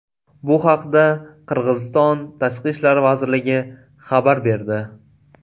Bu haqda Qirg‘iziston Tashqi ishlar vazirligi xabar berdi .